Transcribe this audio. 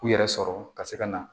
U yɛrɛ sɔrɔ ka se ka na